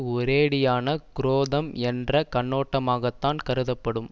ஒரேயடியான குரோதம் என்ற கண்ணோட்டமாகத்தான் கருதப்படும்